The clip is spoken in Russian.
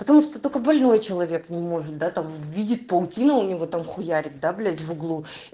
потому что только больной человек не может да там видеть паутину у него там хуярят да блять в углу